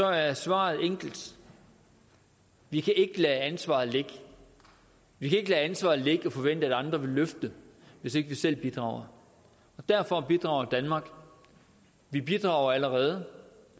er svaret enkelt vi kan ikke lade ansvaret ligge vi kan ikke lade ansvaret ligge og forvente at andre vil løfte det hvis ikke vi selv bidrager og derfor bidrager danmark vi bidrager allerede